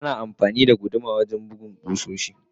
Ana amfani da guduma wajen bugun kusoshi.